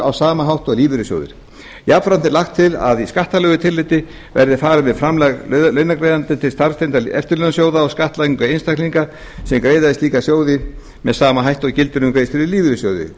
á sama hátt og lífeyrissjóðir jafnframt er lagt til að í skattalegu tilliti verði farið með framlag launagreiðanda til starfstengdra eftirlaunasjóða og skattlagningu einstaklinga sem greiða í slíkan sjóð með sama hætti og gildir um greiðslur í lífeyrissjóð